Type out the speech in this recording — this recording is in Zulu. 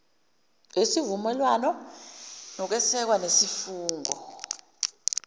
wesivumelwane sokweseka nesifungo